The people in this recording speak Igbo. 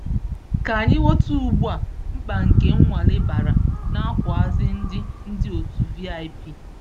Ka anyị ghọta ugbu a mkpa nke nnwale bara n'akwuazi ndị ndị otu VIP.